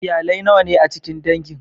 Iyalai nawa ne a cikin dangin?